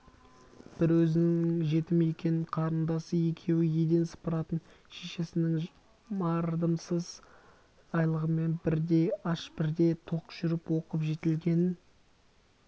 бір өзінің жетім екенін қарындасы екеуі еден сыпыратын шешесінің мардымсыз айлығымен бірде аш бірде тоқ жүріп оқып жетілгенін